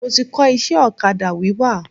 Mo ti kọ́ iṣẹ́ ọ̀kadà wíwà.